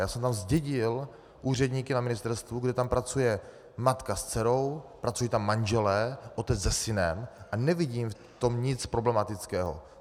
Já jsem tam zdědil úředníky na ministerstvu, kdy tam pracuje matka s dcerou, pracují tam manželé, otec se synem a nevidím v tom nic problematického.